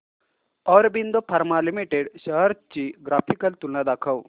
Aurobindo pharma limited shares ची graphical तुलना दाखव